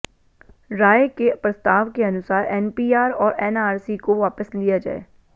राय के प्रस्ताव के अनुसार एनपीआर और एनआरसी को वापस लिया जाए